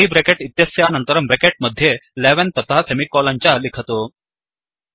curly bracket इत्यस्यानन्तरं bracket मध्ये 11तथा सेमिकोलन् च लिखतु